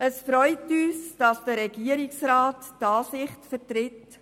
Es freut uns, dass der Regierungsrat unsere Ansicht vertritt.